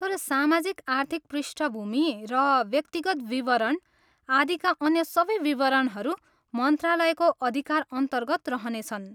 तर सामाजिक आर्थिक पृष्ठभूमि र व्यक्तिगत विवरण आदिका अन्य सबै विवरणहरू मन्त्रालयको अधिकारअन्तर्गत रहनेछन्।